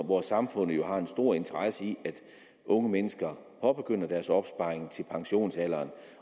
hvor samfundet jo har en stor interesse i at unge mennesker påbegynder deres opsparing til pensionsalderen